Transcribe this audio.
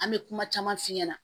An bɛ kuma caman f'i ɲɛna